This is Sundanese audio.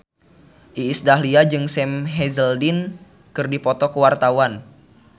Iis Dahlia jeung Sam Hazeldine keur dipoto ku wartawan